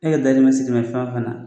E yɛrɛ dahirimɛ sirimɛ fɛn o fɛn na